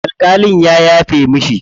Alƙalin ya yafe mishi.